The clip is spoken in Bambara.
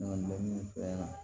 Ne ka dɔnni fɛɛrɛ